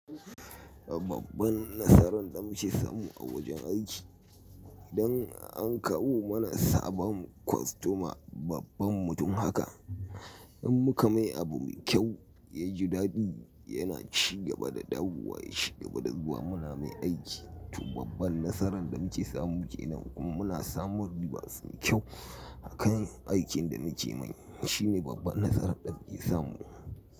Babban nasaran da muke samu a wajen aiki, idan an kawo mana sabon kostoma babban mutum haka in muka mai abu mai kyau ya ji daɗi yana ci gaba da dawowa ya ci gaba da zuwa muna mai aiki. To babban nasaran da muke samu kenan kuma muna samun ribas mai kyau akan aikin da muke yi. Shi ne babban nasaran da muke samu.